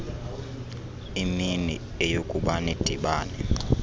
imini eyokuba nidibane